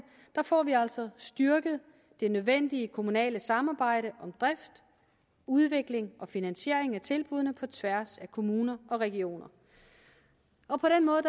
får vi altså styrket det nødvendige kommunale samarbejde om drift udvikling og finansiering af tilbuddene på tværs af kommuner og regioner og på den måde